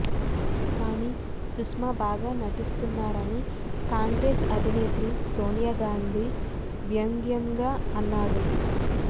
కాని సుష్మా బాగా నటిస్తున్నారని కాంగ్రెస్స్ అధినేత్రి సోనియా గాంధి వ్యంగ్యంగా అన్నారు